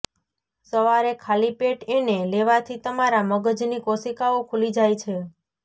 સવારે ખાલી પેટ એને લેવાથી તમારા મગજની કોશિકાઓ ખુલી જાય છે